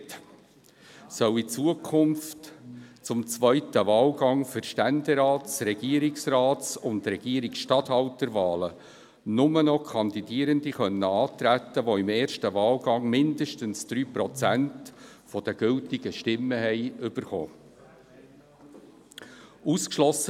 Konkret sollen in Zukunft zu zweiten Wahlgängen von Ständerats-, Regierungsrats- und Regierungsstatthalterwahlen nur noch Kandidierende antreten können, welche im ersten Wahlgang mindestens 3 Prozent der gültigen Stimmen erhalten haben.